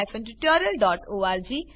અહીં આ ટ્યુટોરીયલનો અંત થાય છે